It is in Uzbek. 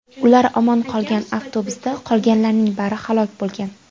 Ular omon qolgan, avtobusda qolganlarning bari halok bo‘lgan.